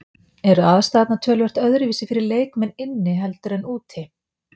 Eru aðstæðurnar töluvert öðruvísi fyrir leikmenn inni heldur en úti?